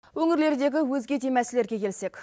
өңірлердегі өзге де мәселелерге келсек